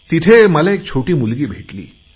तिथे मला एक छोटी मुलगी भेटली